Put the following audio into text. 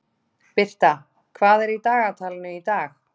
Birta, hvað er í dagatalinu í dag?